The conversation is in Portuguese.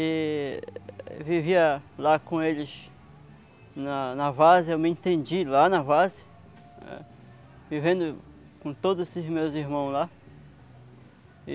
e vivia lá com eles na na, eu me entendi lá na, vivendo com todos os meus irmãos lá.